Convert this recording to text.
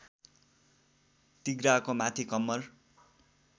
तिघ्राको माथि कम्मर